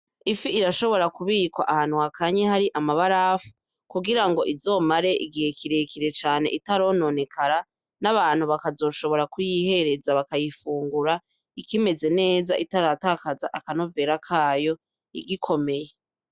Ifi irashobora kubikwa abantu hakanye hari amabarafu kugirango izomare igihe kirekire cane itarononekara n'abantu bakazoshobora kuyihereza bakayifungura ikimeze neza itaratakaza akanovera kayo igikomeye.